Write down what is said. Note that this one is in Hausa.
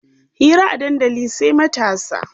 Hira a dandali sai matasa.